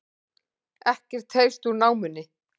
Ekkert heyrst úr námunni